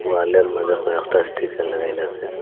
ওয়ালের মাঝে কয়েকটা স্টিকার লাগাইলাসে।